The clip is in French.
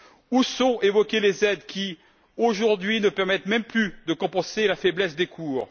Où sont évoquées les aides qui, aujourd'hui, ne permettent même plus de compenser la faiblesse des cours?